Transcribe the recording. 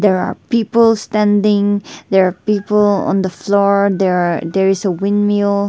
there are people standing there are people on the floor there are there is a wind mill.